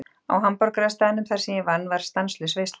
Á hamborgarastaðnum þar sem ég vann var stanslaus veisla.